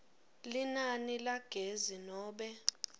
linani lagezi nobe